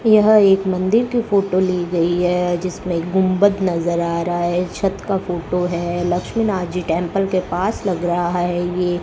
यह एक मंदिर की फोटो ली गई है जिसमें गुंबद नजर आ रहा है छत का फोटो है लक्ष्मी नाथ जी टेंपल के पास लग रहा है ये।